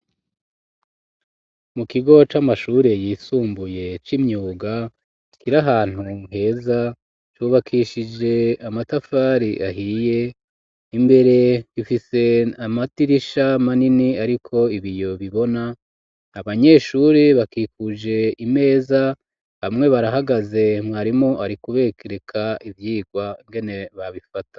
Mu kigo c'amashuri yisumbuye c'imyuga kiri ahantu heza cubakishije amatafari ahiye imbere ifise amadirisha manini ariko ibiyo bibona abanyeshuri bakikuje imeza bamwe barahagaze mwarimu arikubereka ivyirwa ingene babifata.